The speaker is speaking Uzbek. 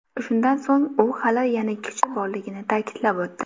Shundan so‘ng u hali yana kuchi borligini ta’kidlab o‘tdi.